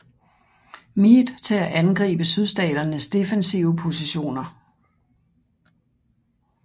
Meade til at angribe Sydstaternes defensive positioner